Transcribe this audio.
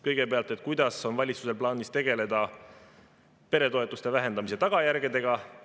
Kõigepealt, kuidas on valitsusel plaanis tegeleda peretoetuste vähendamise tagajärgedega?